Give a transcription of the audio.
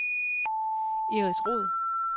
Iris Roed